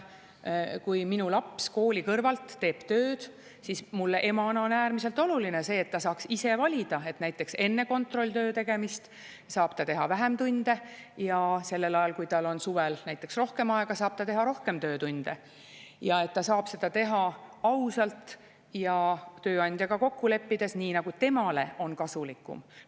Kui minu laps kooli kõrvalt teeb tööd, siis mulle emana on äärmiselt oluline see, et ta saaks ise valida, et näiteks enne kontrolltöö tegemist saab ta teha vähem tunde ja sellel ajal, kui tal on suvel rohkem aega, saab ta teha rohkem töötunde, ja et ta saab seda teha ausalt ja tööandjaga kokku leppides, nii nagu temale on kasulikum.